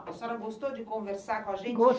A senhora gostou de conversar com a gente?